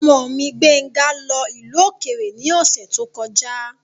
Ọmọ mi, Gbéńga lọ ìlú òkèrè ní ọ̀sẹ̀ tó kọjá.